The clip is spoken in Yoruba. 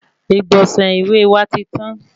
Igbọnsẹ ìwé wa tí tan